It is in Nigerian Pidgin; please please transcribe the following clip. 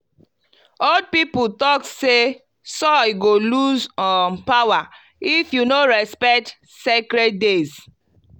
old people talk say say soil go lose um power if you no respect sacred days.